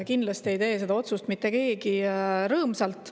Kindlasti ei tee seda otsust mitte keegi rõõmsalt.